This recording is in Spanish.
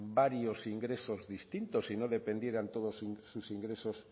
varios ingresos distintos y no dependieran todos sus ingresos